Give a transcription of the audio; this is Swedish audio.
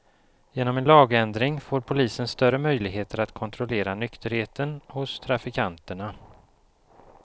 Genom en lagändring får polisen större möjligheter att kontrollera nykterheten hos trafikanterna.